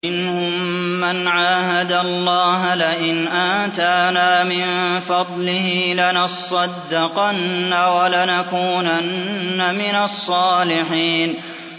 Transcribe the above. ۞ وَمِنْهُم مَّنْ عَاهَدَ اللَّهَ لَئِنْ آتَانَا مِن فَضْلِهِ لَنَصَّدَّقَنَّ وَلَنَكُونَنَّ مِنَ الصَّالِحِينَ